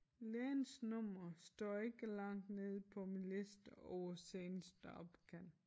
Lægens nummer står ikke langt nede på min liste over seneste opkald